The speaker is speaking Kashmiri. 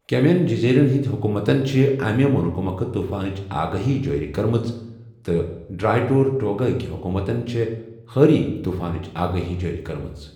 کیمین جزیٖرن ہندی حُکوٗمتن چھےٚ امہِ مُلکہٕ مۄکھٕ طوٗفانٕچ آگٲہی جٲری کٔرمٕژ، تہٕ ڈرٛاے ٹۄرٹوگا ہکۍ حُکوٗمتن چھےٚ حٲری طوٗفانٕچ اگٲہی جٲری کٔرمٕژ۔